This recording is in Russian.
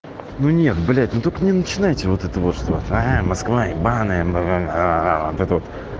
ну нет блять ну только не начинайте вот это вот что а москва ебаная мм аа вот это вот